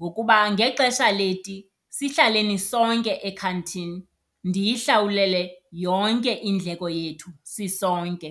ngokuba ngexesha leti sihlaleni sonke ekhantini ndiyihlawulele yonke indleko yethu sisonke.